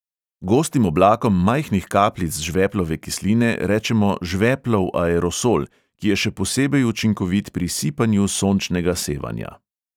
Gostim oblakom majhnih kapljic žveplove kisline rečemo žveplov aerosol, ki je še posebej učinkovit pri sipanju sončnega sevanja.